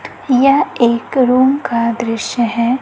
यह एक रूम का दृश्य है।